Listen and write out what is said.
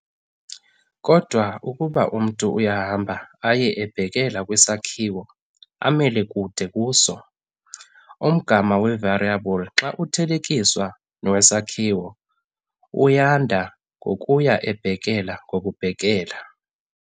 Kodwa ukuba umntu uyahamba aye ebhekela kwisakhiwo amele kude kuso, umgama we-variable xa uthelekiswa nowesakhiwo uyanda ngokuya ebhekela ngokubhekela.